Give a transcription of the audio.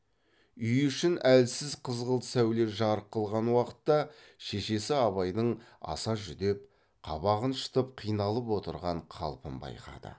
үй ішін әлсіз қызғылт сәуле жарық қылған уақытта шешесі абайдың аса жүдеп қабағын шытып қиналып отырған қалпын байқады